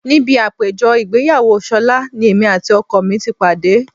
Níbi àpéjọ ìgbéyàwó ṣọlá ni èmi àti ọkọ mi ti pàdé